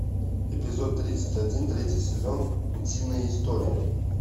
эпизод тридцать один третий сезон утиные истории